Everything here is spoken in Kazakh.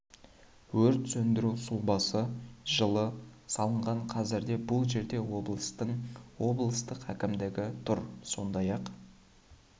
өрт сөндіру сұлбасы жылы салынған қазірде бұл жерде облыстың облыстық әкімдігі тұр сондай ақ